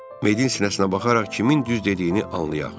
Medianın sinəsinə baxaraq kimin düz dediyini anlayaq.